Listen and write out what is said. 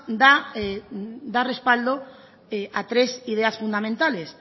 da respaldo a tres ideas fundamentales